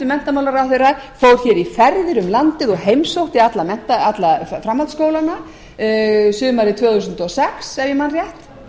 menntamálaráðherra fór hér í ferðir um landið og heimsótti alla framhaldsskólana sumarið tvö þúsund og sex ef ég man rétt